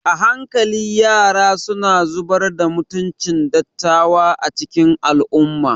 A hankali yara suna zubar da mutuncin dattawa a cikin al'ummarmu.